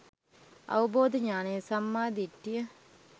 අවබෝධ ඤාණය සම්මා දිට්ඨිය